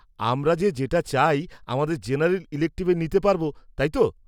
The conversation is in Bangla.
-আমরা যে যেটা চাই আমাদের জেনারেল ইলেকটিভে নিতে পারব, তাই তো?